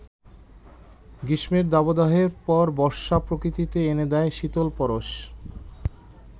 গ্রীষ্মের দাবদাহের পর বর্ষা প্রকৃতিতে এনে দেয় শীতল পরশ।